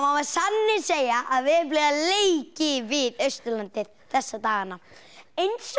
sanni segja að veðurblíðan leiki við Austurlandið þessa dagana eins og þið